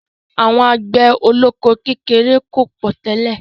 Àwọn àgbẹ̀ olóko kékeré ò pọ̀ tẹ́lẹ̀.